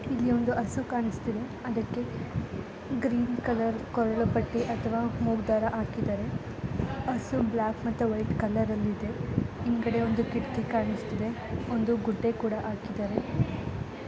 ಇಲ್ಲಿ ಒಂದು ಹಸು ಕಾಣಿಸ್ತಾ ಇದೆ ಅದಕ್ಕೆ ಗ್ರೀನ್ ಕಲರ್ ಪಟ್ಟಿ ಅಥವಾ ಮೂಗ್ ದಾರ ಹಾಕಿದ್ದಾರೆ. ಬ್ಲಾಕ್ ಮತ್ತೆ ವೈಟ್ ಕಲರ್ ಅಲ್ಲಿ ಇದೆ. ಹಿಂದಗಡೆ ಒಂದು ಕಿಟಕಿ ಕಾಣಿಸ್ತಾ ಇದೆ ಮತ್ತೆ ಒಂದು ಗುಡ್ಡೆ ಕೂಡ ಹಾಕಿದ್ದಾರೆ.